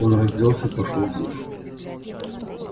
он разделся и пошёл в душ